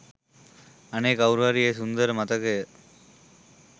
අනේ කවුරු හරි ඒ සුන්දර මතකය